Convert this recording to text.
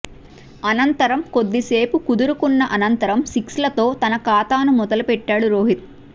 అనంతరం కొద్దిసేపు కుదురుకున్న అనంతరం సిక్స్లతో తన ఖాతాను మొదలు పెట్టాడు రోహిత్